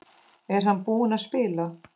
Er hann tilbúinn að spila?